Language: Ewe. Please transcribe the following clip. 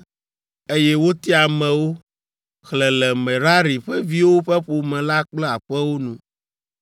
Eye wotia amewo, xlẽ le Merari ƒe viwo ƒe ƒome la kple aƒewo nu.